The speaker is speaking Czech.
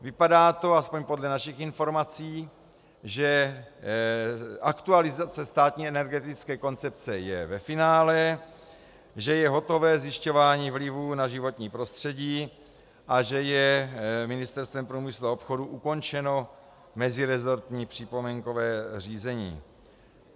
Vypadá to, alespoň podle našich informací, že aktualizace státní energetické koncepce je ve finále, že je hotové zjišťování vlivů na životní prostředí a že je Ministerstvem průmyslu a obchodu ukončeno mezirezortní připomínkové řízení.